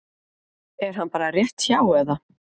Er hann bara rétt hjá eða?